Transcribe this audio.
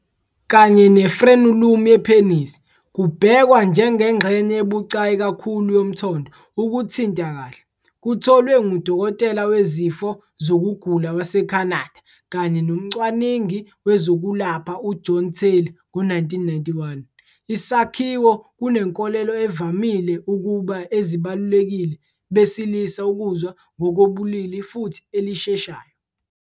Kanye ne- frenulum yepenisi, kubhekwa njengengxenye ebucayi kakhulu yomthondo ukuthinta-kahle. Kutholwe ngudokotela wezifo zokugula waseCanada kanye nomcwaningi wezokwelapha uJohn Taylor ngo-1991. Isakhiwo kunenkolelo evamile ukuba ezibalulekile besilisa ukuzwa ngokobulili futhi elisheshayo.